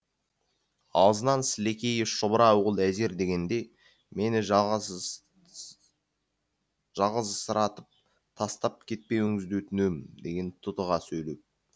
аузынан сілекейі шұбыра ол әзер дегенде мені жалғызсыратып тастап кетпеуіңізді өтінемін деген тұтыға сөйлеп